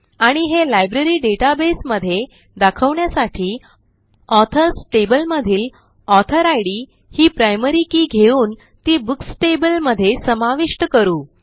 आणि हे library database मध्ये दाखवण्यासाठी ऑथर्स टेबल मधील ऑथर इद ही प्रायमरी keyघेऊन ती बुक्स टेबल मध्ये समाविष्ट करू